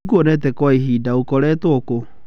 Ndikuonete Kwa ihinda , ũkoretwo kũ?